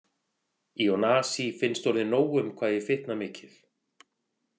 Ionasi finnst orðið nóg um hvað ég fitna mikið.